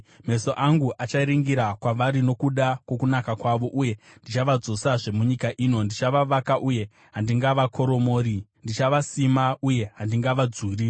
Meso angu acharingira kwavari nokuda kwokunaka kwavo, uye ndichavadzosazve munyika ino. Ndichavavaka uye handingavakoromori; ndichavasima uye handingavadzuri.